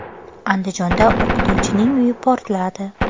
Andijonda o‘qituvchining uyi portladi.